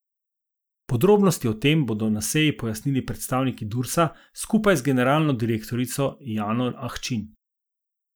Podrobnosti o tem bodo na seji pojasnili predstavniki Dursa skupaj z generalno direktorico Jano Ahčin.